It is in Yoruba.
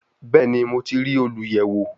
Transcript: Bẹẹni, Mo ti rii oluyẹwo